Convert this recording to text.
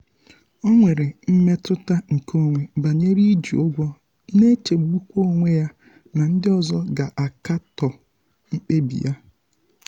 um o nwere mmetụta nke onwe banyere iji ụgwọ na-echegbukwa onwe ya um na ndị um ọzọ ga-akatọ mkpebi ya.